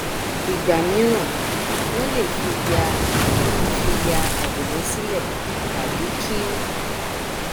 ìgbà míràn wọn lè fi ya fi ya àwòrán sílẹ tàbí kí